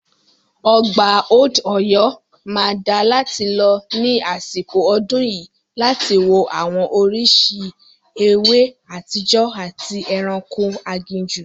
Ọgbà Old Ọ̀yọ́ máa dáa láti lọ ní àsìkò ọdún yìí láti wo àwọn oríṣìí ewé àtijọ́ àti ẹranko aginjù.